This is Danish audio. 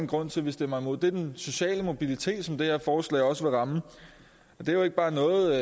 grund til at vi stemmer imod og det er den sociale mobilitet som det her forslag også vil ramme og det er jo ikke bare noget